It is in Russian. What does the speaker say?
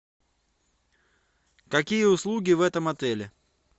какие услуги в этом отеле